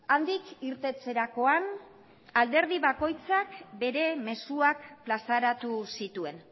handik irteterakoan alderdi bakoitzak bere mezuak plazaratu zituen